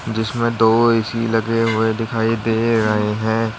जिसमें दो ए_सी लगे हुए दिखाई दे रहे हैं।